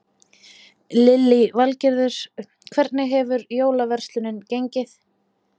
Lillý Valgerður: Hvernig hefur jólaverslunin gengið?